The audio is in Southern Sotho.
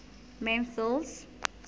memphis